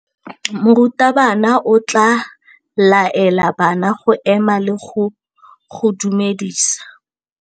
Morutabana o tla laela bana go ema le go go dumedisa.